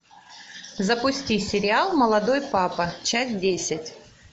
запусти сериал молодой папа часть десять